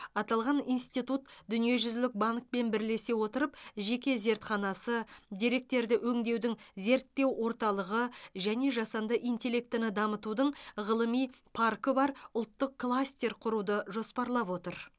аталған институт дүниежүзілік банкпен бірлесе отырып жеке зертханасы деректерді өңдеудің зерттеу орталығы және жасанды интеллектіні дамытудың ғылыми паркі бар ұлттық кластер құруды жоспарлап отыр